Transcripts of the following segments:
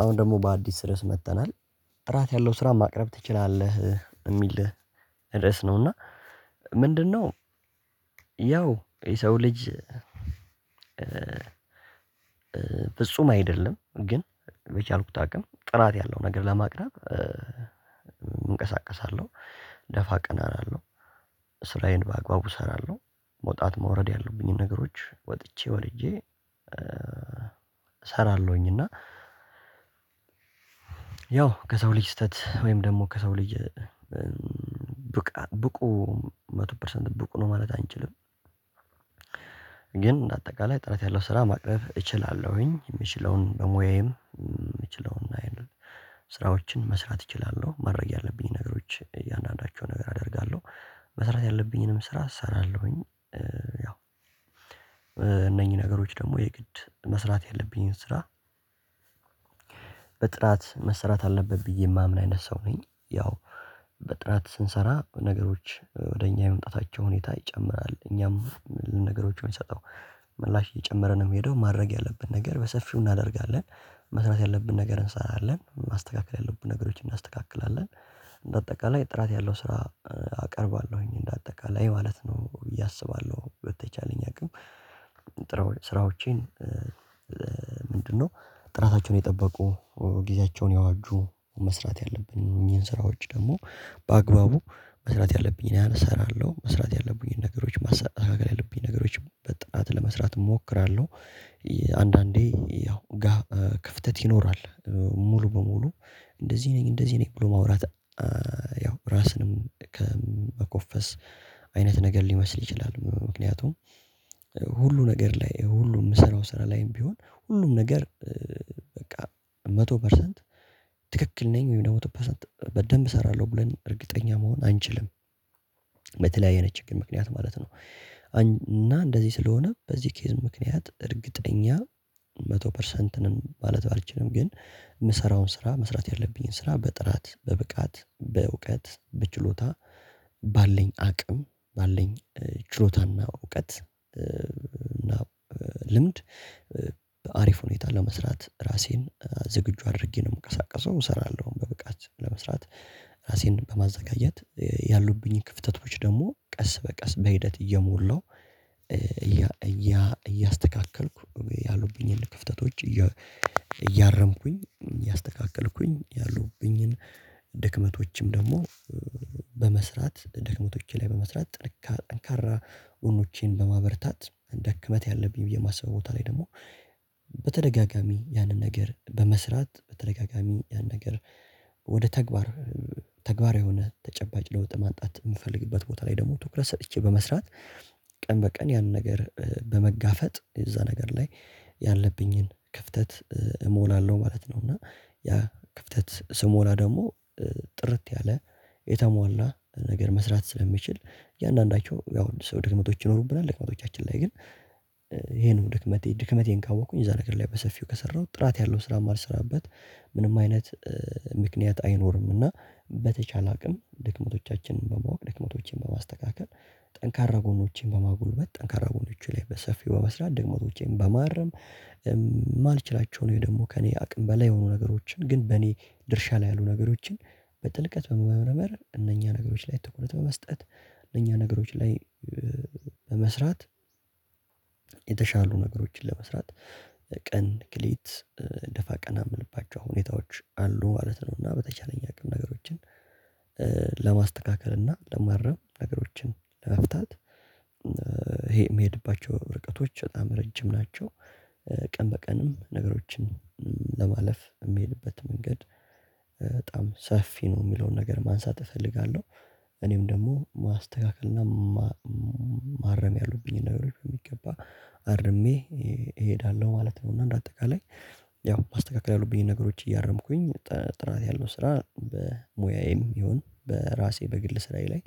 አሁን ደግሞ በአዲስ ርዕስ መጥተናል። ጥራት ያለው ስራ ማቅረብ ትችላለህ የሚል ድረስ ነው እና ምንድነው ያው የሰው ልጅ ፍጹም አይደለም ግን የቻልኩት አቅም ጥራት ያለው ነገር ለማቅረብ እንቀሳቀሳለሁ። ደፋ ቀና እላለሁ። ስራዬን በአግባቡ እሰራለሁ። መውጣት መውረድ ያለብኝን ነገሮች ወጥቼ ወድጄ እሰራለሁኝ እና ያው ከሰው ልጅ ስተት ወይም ደግሞ ከሰው ልጅ ብቃ ብቁ መቶ ፐርሰንት ብቁ ነው ማለት አንችልም። ግን አጠቃላይ ጥራት ያለው ስራ ማቅረብ እችላለሁኝ። የምችለውን በሙያዬም የምችለውን ስራዎችን መስራት እችላለሁ፤ ማድረግ ያለብኝን ነገሮች እያንዳንዳቸው ነገር አደርጋለሁ። መስራት ያለብኝንም ስራ እሰራለሁኝ ያው እነኚህ ነገሮች ደግሞ የግድ መስራት ያለብኝን ስራ በጥራት መሰራት አለበት ብዬ የማምን አይነት ሰው ነኝ። ያው በጥራት ስንሰራ ነገሮች ወደ እኛ የመምጣታቸው ሁኔታ ይጨምራል። እኛም እኒህን ነገሮች የምንሰጠው ምላሽ እየጨመረ ነው የምሄደው። ማድረግ ያለብን ነገር በሰፊው እናደርጋለን። መስራት ያለብን ነገር እንሰራለን። ማስተካከል ያለብን ነገሮችን እናስተካክላለን። በአጠቃላይ ጥራት ያለው ስራ አቀርባለሁኝ እንደ አጠቃላይ ማለት ነው ብየ አስባለሁ። በተቻለኝ አቅም ስራዎቼን ምንድነው ጥራታቸውን የጠበቁ ጊዜያቸውን ያዋጁ መስራት ያለብኝ እኚህን ስራዎች ደግሞ በአግባቡ መስራት ያለብኝን ያህል እሰራለሁ። መስራት ያለብኝን ነገሮች ማሳካት ያለብኝን ነገሮች በጥናት ለመስራት እሞክራለሁ። አንዳንዴ ያው ጋፕ ክፍተት ይኖራል። ሙሉ በሙሉ እንደዚህ ነኝ እንደዚህ ነኝ ብሎ ማውራት ያው ራስንም ከመኮፈስ አይነት ነገር ሊመስል ይችላል ምክንያቱም ሁሉ ነገር ላይ ሁሉ የምሰራው ስራ ላይም ቢሆን ሁሉም ነገር በቃ! መቶ ፐርሰንት ትክክል ነኝ ወይም መቶ ፐርሰንት በደንብ እሰራለሁ ብለን እርግጠኛ መሆን አንችልም። በተለያየ አይነት ችግር ምክንያት ማለት ነው እና እንደዚህ ስለሆነ በዚህ ኬዝ ምክንያት እርግጠኛ መቶ ፐርሰንት ነን ማለት አልችልም ግን የምሰራውን ስራ መስራት ያለብኝን ስራ በጥራት በብቃት በእውቀት በችሎታ ባለኝ አቅም ባለኝ ችሎታና እውቀት እና ልምድ አሪፍ ሁኔታ ለመስራት ራሴን ዝግጁ አድርጌ ነው የምቀሳቀሰው። እሰራለሁ በብቃት ለመስራት ራሴን በማዘጋጀት ያሉብኝን ክፍተቶች ደግሞ ቀስ በቀስ በሂደት እየሞላሁ እያስተካከልኩ ያሉብኝን ክፍተቶች እያረምኩኝ እያስተካከልኩኝ ድክመቶችም ደግሞ በመስራት ድክመቶቼ ላይ በመስራት ጥንካ ጠንካራ ጎኖቼን በማበርታት ድክመት ያለብኝ ብዬ የማስበው ቦታ ላይ ደግሞ በተደጋጋሚ ያንን ነገር በመስራት በተደጋጋሚ ያንን ነገር ወደ ተግባር ተግባራዊ የሆነ ተጨባጭ ለውጥ ማንጣት የምፈልግበት ቦታ ላይ ደግሞ ትኩረት ሰጥቼ በመስራት ቀን በቀን ያን ነገር በመጋፈጥ እዛ ነገር ላይ ያለብኝን ክፍተት እሞላለሁ ማለት ነው እና ያ ክፍተት ስሞላ ደግሞ ጥርት ያለ የተሟላ ነገር መስራት ስለሚችል እያንዳንዳቸው ያው ሰው ድክመቶች ይኖሩብናል። ድክመቶቻችን ላይ ግን ይሄንን ድክመቴ ድክመቴን ካወቅኩኝ እዛ ነገር ላይ በሰፊው ከሰራሁት ጥራት ያለው ስራ ማልሰራበት ምንም አይነት ምክንያት አይኖርምና በተቻለ አቅም ድክመቶቻችንን በማወቅ ድክመቶችንን በማስተካከል ጠንካራ ጎኖችንን በማጉልበት ጠንካራ ጎኖቹን ላይ በሰፊው በመስራት ድክመቶቼን በማረም የማልችላቸውን ወይም ደግሞ ከእኔ አቅም በላይ የሆኑ ነገሮችን ግን በእኔ ድርሻ ላይ ያሉ ነገሮችን በጥልቀት በመመርመር እነኛ ነገሮች ላይ ትኩረት በመስጠት እነኛ ነገሮች ላይ በመስራት የተሻሉ ነገሮችን ለመስራት ቀን ከሌሊት ደፋ ቀና የምንልባቸው ሁኔታዎች አሉ ማለት ነው እና በተቻለኝ አቅም ነገሮችን ለማስተካከል እና ለማረም ነገሮችን ለመፍታት ይሄ የሚሄድባቸው ርቀቶች በጣም ረጅም ናቸው። ቀን በቀንም ነገሮችን ለማለፍ የሚሄድበት መንገድ ሰፊ ነው የሚለውን ነገር ማንሳት እፈልጋለሁ። እኔም ደግሞ ማስተካከል እና ማረም ያሉብኝን ነገሮች በሚገባ አርሜ እሄዳለሁ ማለት ነው እና እንደ አጠቃላይ ያው ማስተካከል ያሉብኝን ነገሮች እያረምኩኝ ጥራት ያለው ስራ በሙያዬም ይሁን በራሴ በግል ስራዬ ላይ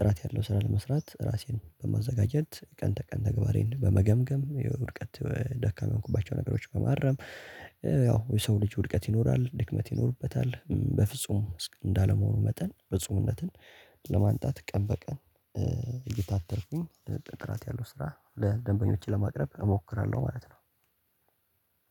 ጥራት ያለው ስራ ለመስራት ራሴን በማዘጋጀት፣ ቀን ተቀን ተግባሬን በመገምገም፣ የውድቀት ደካማ የሆንኩባቸው ነገሮች በማረም፣ ያው የሰው ልጅ ውድቀት ይኖራል። ድክመት ይኖርበታል በፍጹም እንዳለመሆኑ መጠን ፍጹምነትን ለማንጣት ቀን በቀን እየታተርኩኝ ጥራት ያለው ስራ ለደንበኞች ለማቅረብ እሞክራለሁ ማለት ነው።